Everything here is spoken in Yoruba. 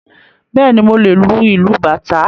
Bẹ́ẹ̀ni, mo lè lu ìlù Bàtá